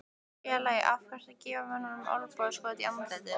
Félagi, af hverju ertu að gefa mönnum olnbogaskot í andlitið?